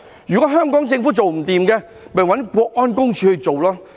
如果香港政府做不到，便找駐港國安公署去做。